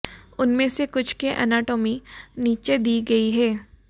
उनमें से कुछ के एनाटॉमी नीचे दी गई है